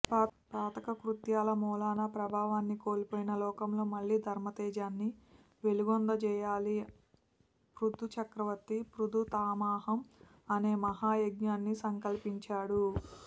పాతకకృత్యాల మూలాన ప్రాభవాన్ని కోల్పోయిన లోకంలో మళ్ళీ ధర్మతేజాన్ని వెలుగొందజేయాలని పృథు చక్రవర్తి పృథుపైతామహం అనే మహాయజ్ఞాన్ని సంకల్పించాడు